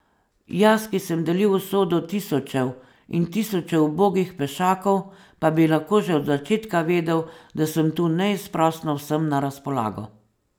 Jaz, ki sem delil usodo tisočev in tisočev ubogih pešakov, pa bi lahko že od začetka vedel, da sem tu neizprosno vsem na razpolago.